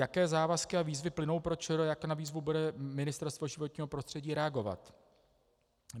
Jaké závazky a výzvy plynou pro ČR, jak na výzvu bude Ministerstvo životního prostředí reagovat?